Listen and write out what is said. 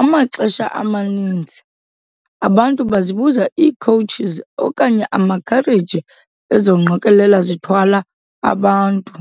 Amaxesha amaninzi, abantu bazibiza ii-Coaches okanye amakhareji ezo ngqokolela zithwala abantu.